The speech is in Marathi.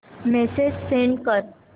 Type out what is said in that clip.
मेसेज सेंड कर